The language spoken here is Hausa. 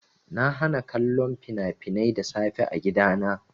Na hana kallon fina-finai da safe a gidana.